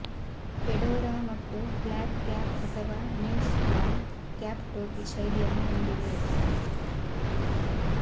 Fedora ಮತ್ತು flat cap ಅಥವಾ newsboy cap ಟೋಪಿ ಶೈಲಿಯನ್ನು ಹೊಂದಿವೆ